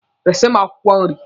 Resi m akwụkwọ nri!